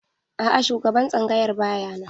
A'a shugaban tsangayar ba ya nan.